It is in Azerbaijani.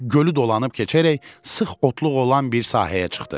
Gölü dolanıb keçərək sıx otluq olan bir sahəyə çıxdı.